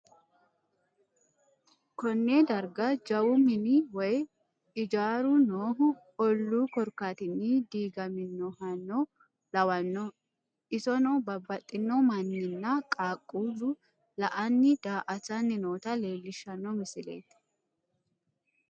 konne darga jawu mini woyi ijaru noohu ollu koorkatini digaminohano lawano issono babbaxino manina qaaqulu la'anni da'atanni noota leelishano misileti.